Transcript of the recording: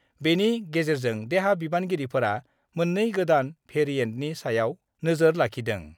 बेनि गेजेरजों देहा बिबानगिरिफोरा मोननै गोदान भेरिएन्टनि सायाव नोजोर लाखिदों।